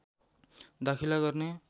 दाखिला गर्ने